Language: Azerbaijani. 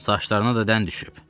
Saçlarına da dən düşüb.